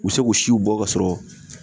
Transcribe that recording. U be se k'u siw bɔ k'a sɔrɔ